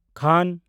ᱠᱟᱦᱱ (ᱠᱷᱟᱱ ᱦᱚᱸ)